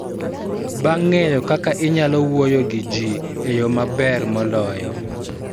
Bang� ng�eyo kaka inyalo wuoyo gi ji e yo maber moloyo,